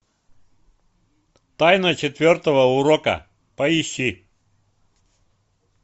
тайна четвертого урока поищи